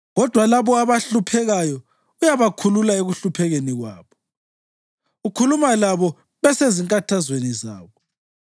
Kodwa labo abahluphekayo uyabakhulula ekuhluphekeni kwabo; ukhuluma labo besezinkathazweni zabo.